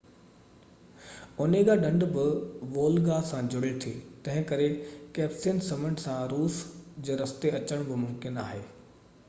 Onega ڍنڍ بہ Volga سان جڙي ٿي تنهنڪري ڪيسپيئن سمنڊ کان روس جي رستي اچڻ بہ ممڪن آهي